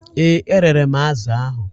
Ee, erere m azụ̀ ahụ.